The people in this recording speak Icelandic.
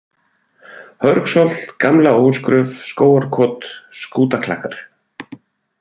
Hörgsholt, Gamla-Ósgröf, Skógarkot, Skútaklakkar